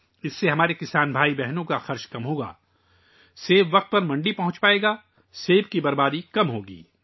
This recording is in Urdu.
اس سے ہمارے کسان بھائیوں اور بہنوں کے اخراجات میں کمی آئے گی سیب وقت پر منڈی پہنچیں گے، سیب کا زیاں بھی کم ہوگا